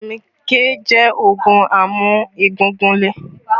Fitami K jẹ́ oogun amu egungun lè